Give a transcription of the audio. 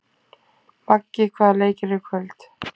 Maggi, hvaða leikir eru í kvöld?